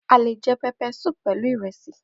Peppersoup le jẹ pẹlu iresi